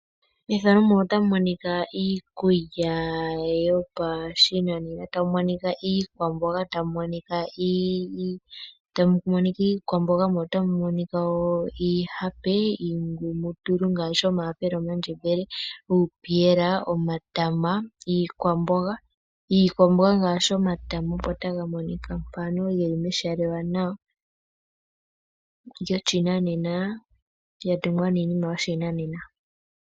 Iikulya yopashinanena , ano iikwamboga ,iihape noshowoo iingumutulu ngashi omahapela ,omandjembele nupiyela noshowo omatama opo geli taga monika nawa meshala lyoshinanena lya tungwa nawa.